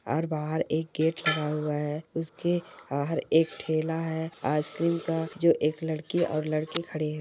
और बाहर एक गेट लगा हुआ हैउसके हर एक थैला हैआइसक्रीम का जो एक लड़की और लड़के खड़े है।